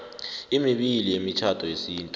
emibili yemitjhado yesintu